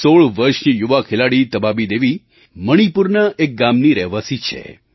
16 વર્ષની યુવા ખેલાડી તબાબી દેવી મણિપુરના એક ગામની રહેવાસી છે